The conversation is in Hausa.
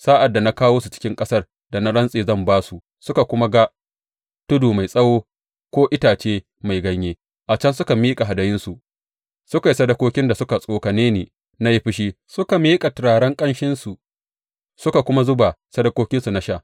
Sa’ad da na kawo su cikin ƙasar da na rantse zan ba su suka kuma ga tudu mai tsawo ko itace mai ganye, a can suka miƙa hadayunsu, suka yi sadakokin da suka tsokane ni na yi fushi, suka miƙa turaren ƙanshinsu suka kuma zuba sadakokinsu na sha.